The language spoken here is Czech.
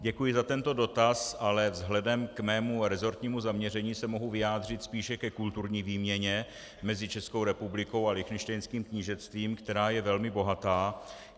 Děkuji za tento dotaz, ale vzhledem k svému resortnímu zaměření se mohu vyjádřit spíše ke kulturní výměně mezi Českou republikou a Lichtenštejnským knížectvím, která je velmi bohatá.